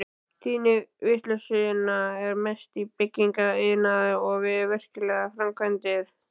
Tíðni vinnuslysa er mest í byggingariðnaði og við verklegar framkvæmdir.